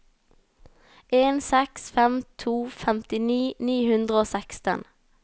en seks fem to femtini ni hundre og seksten